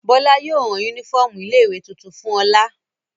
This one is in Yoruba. Bọ́lá yóò rán únífọ́ọ́mù ilé-ìwé tuntun fún Ọlá.